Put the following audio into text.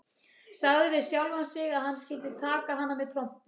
Sagði við sjálfan sig að hann skyldi taka hana með trompi.